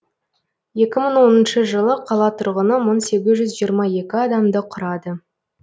екі мың оныншы жылы қала тұрғыны мың сегіз жүз жиырма екі адамды құрады